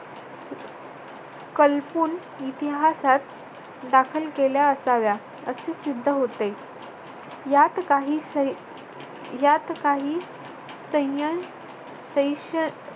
कल्पून इतिहासात दाखल केल्या असाव्या. असे सिद्ध होते. यात काही सैन्य शेष